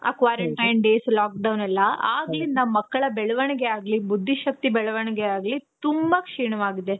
quarantine days lockdown ಎಲ್ಲಾ ಆಗ್ಲಿಂದ ಮಕ್ಕಳ ಬೆಳವಣಿಗೆ ಆಗ್ಲಿ, ಬುದ್ದಿ ಶಕ್ತಿ ಬೆಳವಣಿಗೆ ಆಗ್ಲಿ ತುಂಬಾ ಕ್ಷೀಣವಾಗಿದೆ.